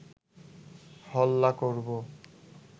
হল্লা করব